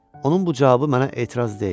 Onun bu cavabı mənə etiraz deyil.